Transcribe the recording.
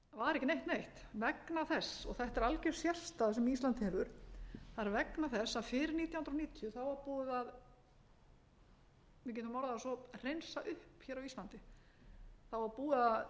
ekki neitt neitt vegna þess og þetta er algjör sérstaða sem ísland hefur vegna þess að fyrir nítján hundruð níutíu þá var búið að við getum orðað það svo hreinsa upp hér á íslandi það var búið að